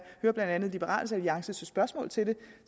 hører blandt andet liberal alliances spørgsmål til det